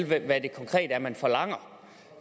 hvad det konkret er man forlanger